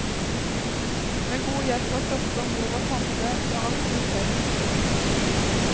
Med god hjelp av søster, mor og tante når aktiviteten er størst.